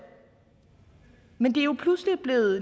men det er jo pludselig blevet